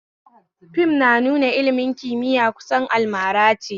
Fim na nuna ilmin kimiya kusan almarace